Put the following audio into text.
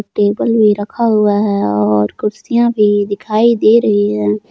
Table भी रखा हुआ है और कुर्सियां भी दिखाई दे रही हैं।